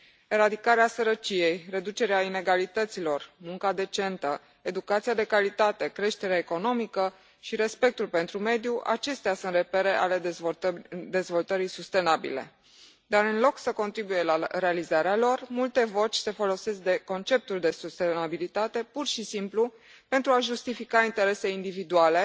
Eradicarea sărăciei, reducerea inegalităților, munca decentă, educația de calitate, creșterea economică și respectul pentru mediu acestea sunt repere ale dezvoltării sustenabile, dar, în loc să contribuie la realizarea lor, multe voci se folosesc de conceptul de sustenabilitate pur și simplu pentru a justifica interese individuale